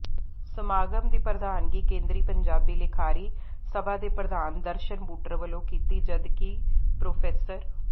ਸਮਾਗਮ ਦੀ ਪ੍ਰਧਾਨਗੀ ਕੇਂਦਰੀ ਪੰਜਾਬੀ ਲਿਖਾਰੀ ਸਭਾ ਦੇ ਪ੍ਰਧਾਨ ਦਰਸ਼ਣ ਬੁਟਰ ਵਲੋਂ ਕੀਤੀ ਜਦਕਿ ਪ੍ਰਰੋ